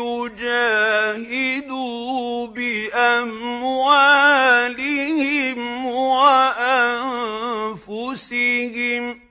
يُجَاهِدُوا بِأَمْوَالِهِمْ وَأَنفُسِهِمْ ۗ